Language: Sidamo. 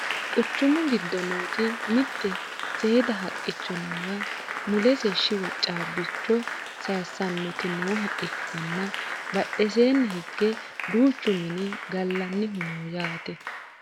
quchumu giddo nooti mitte seeda haqqicho noowa mulese shiwo caabbicho sayeessannoti nooha ikkanna badheseeni hige duuchu mini gallannihu no yaate